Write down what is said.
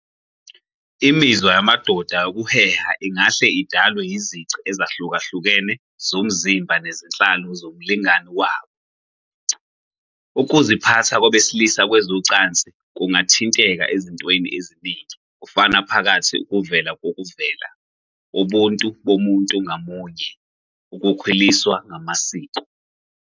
Imizwa yamadoda yokuheha ingahle idalwe yizici ezahlukahlukene zomzimba nezenhlalo zomlingani wabo. Ukuziphatha kwabesilisa kwezocansi kungathinteka ezintweni eziningi, kufaka phakathi ukuvela kokuvela, ubuntu bomuntu ngamunye, ukukhuliswa namasiko.